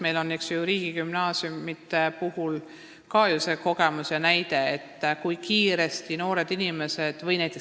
Meil on ju ka see kogemus ja näide olemas riigigümnaasiumides, kui kiiresti noored inimesed reageerivad.